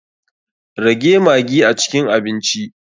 Rage maggi a cikin abinci.